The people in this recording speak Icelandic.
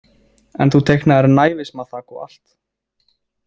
En þú teiknaðir naívismaþak og allt.